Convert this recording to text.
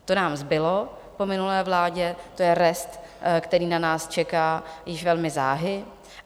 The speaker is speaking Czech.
To nám zbylo po minulé vládě, to je rest, který na nás čeká už velmi záhy.